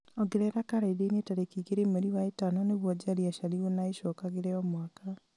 ongerera karenda-inĩ tarĩki igĩrĩ mweri wa ĩtano nĩguo njeri aciarirwo na ĩcokagĩre o mwaka